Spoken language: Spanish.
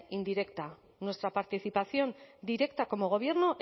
indirecta nuestra participación directa como gobierno